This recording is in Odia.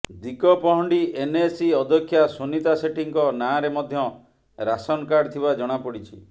ଦିଗପହଣ୍ଡି ଏନଏସି ଅଧ୍ୟକ୍ଷା ସୁନିତା ସେଠୀଙ୍କ ନାଁରେ ମଧ୍ୟ ରାସନ କାର୍ଡ ଥିବା ଜଣାପଡିଛି